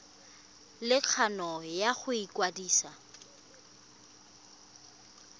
le kgano ya go ikwadisa